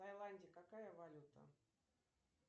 в тайланде какая валюта